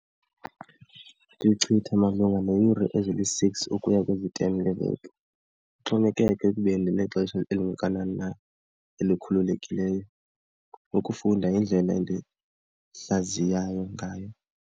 Ndichitha malunga neeyure eziyi-six ukuya kwezi-ten ngeveki, kuxhomekeka ekubeni ndinexesha elingakanani na elikhululekileyo ukufunda indlela endihlaziyayo ngayo.